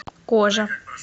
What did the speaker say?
кожа